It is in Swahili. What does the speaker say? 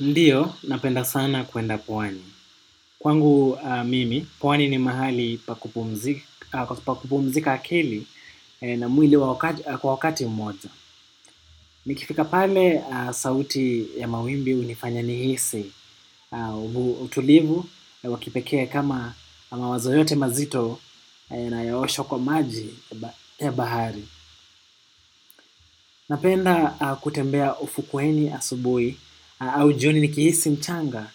Ndiyo, napenda sana kuenda pwani. Kwangu mimi, pwani ni mahali pakupumzika akili na mwili kwa wakati mmoja. Nikifika pale, sauti ya mawimbi hunifanya nihisi. Utulivu, wakipekee kama mawazo yote mazito yanaoshwa kwa maji ya bahari. Napenda kutembea ufukweni asubuhi au joni nikihisi mchanga